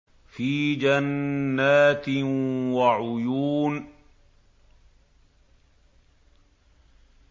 فِي جَنَّاتٍ وَعُيُونٍ